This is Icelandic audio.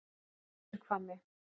Suðurhvammi